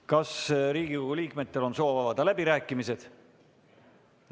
Kas Riigikogu liikmetel on soov avada läbirääkimised?